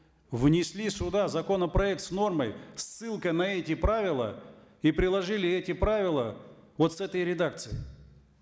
внесли сюда законопроект с нормой с ссылкой на эти правила и приложили эти правила вот с этой редакцией